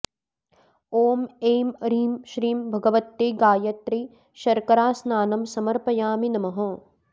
ॐ ऐं ह्रीं श्रीं भगवत्यै गायत्र्यै शर्करास्नानं समर्पयामि नमः